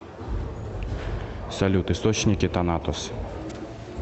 салют источники танатос